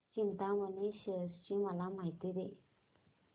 चिंतामणी थेऊर ची मला माहिती दे